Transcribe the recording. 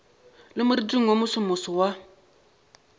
le moriting wo mosomoso wa